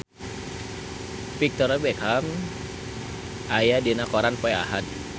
Victoria Beckham aya dina koran poe Ahad